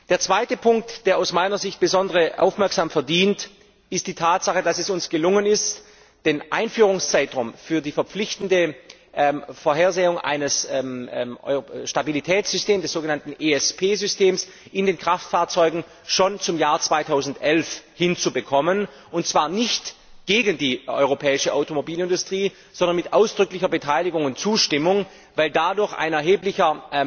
Der zweite Punkt, der aus meiner Sicht besondere Aufmerksamkeit verdient, ist die Tatsache, dass es uns gelungen ist, die verpflichtende Vorsehung eines Stabilitätssystems, des sogenannten ESP Systems, in den Kraftfahrzeugen schon zum Jahre 2011 hinzubekommen, und zwar nicht gegen die europäische Automobilindustrie, sondern mit deren ausdrücklicher Beteiligung und Zustimmung, weil dadurch ein erheblicher